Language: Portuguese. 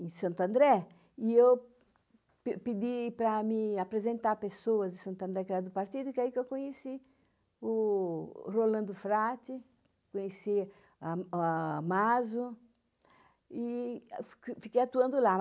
em Santo André, e eu pedi para me apresentar a pessoa de Santo André, que era do Partido, que é aí que eu conheci o Rolando Frati, conheci a Maso, e fiquei atuando lá.